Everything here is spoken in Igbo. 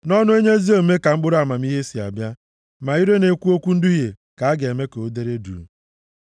Nʼọnụ onye ezi omume ka mkpụrụ amamihe si abịa, ma ire na-ekwu okwu nduhie ka a ga-eme ka o dere duu.